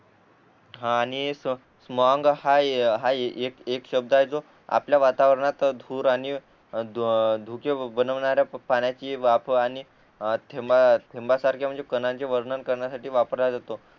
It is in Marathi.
आणि मग हा हा एक एक शब्द आहे जो आपल्या वातावरणात धूर आणि धुके बनवणाऱ्या पाण्याची वाफ आणि थेंब थेंबा सारखे म्हणजे कणांचे वर्णन करण्यासाठी वापरल्या जातो